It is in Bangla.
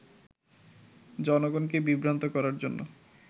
জনগণকে বিভ্রান্ত করার জন্য